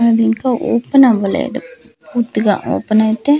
అదింక open అవ్వలెదు పూర్తిగా open అయితే .